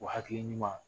O hakili ɲuman